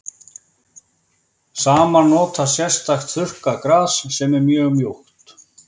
Samar nota sérstakt þurrkað gras sem er mjög mjúkt.